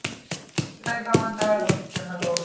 সেটাই তো আমার দ্বারা হচ্ছে না দৌড়।